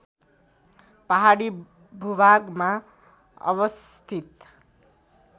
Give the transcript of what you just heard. पहाडी भूभागमा अवस्थित